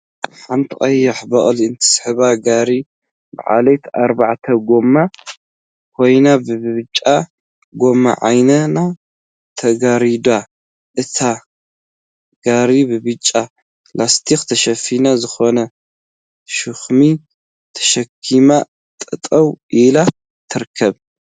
ሓንቲ ቀያሕ በቅሊ እትስሕባ ጋሪ በዓልቲ አርባዕተ ጎማ ኮይና ብብጫ ጎማ ዓይና ተጋሪዳ እቲ ጋሪአ ብብጫ ላስቲክ ተሸፊኑ ዝኮነ ሸክሚ ተሸኪማ ጠጠወ ኢላ ትርከብ፡፡